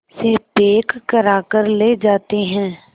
से पैक कराकर ले जाते हैं